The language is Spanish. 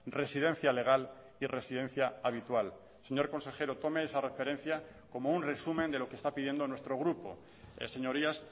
residencia legal y residencia habitual señor consejero tome esa referencia como un resumen de lo que está pidiendo nuestro grupo señorías